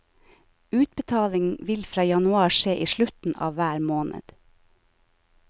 Utbetaling vil fra januar skje i slutten av hver måned.